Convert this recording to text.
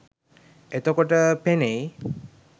එතකොට පෙනෙයි